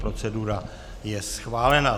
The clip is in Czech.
Procedura je schválená.